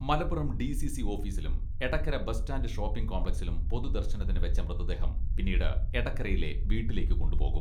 Malappuram DCC ഓഫീസിലും Edakkara bus stand shopping കോംപ്ലക്സിലും പൊതുദർശനത്തിന് വെച്ച മൃതദേഹം പിന്നീട് എടകരയിലെ വീട്ടിലേക്ക് കൊണ്ടുപോകും.